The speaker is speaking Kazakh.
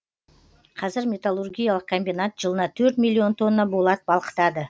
қазір металлургиялық комбинат жылына төрт миллион тонна болат балқытады